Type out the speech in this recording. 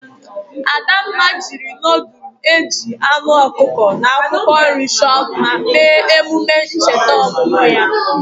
Adamma jiri nudul ejiri anu okuko na akwokwo nri cho mma mee emume ncheta omumu ya.